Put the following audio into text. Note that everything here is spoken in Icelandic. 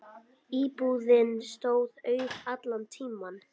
Íbúðin stóð auð allan tímann.